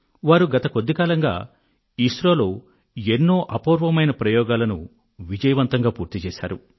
వారు గత కొద్ది కాలంగా ఐఎస్ఆర్ఒ ఇస్రోలో ఎన్నో అపూర్వమైన ప్రయోగాలను విజయవంతంగా పూర్తి చేశారు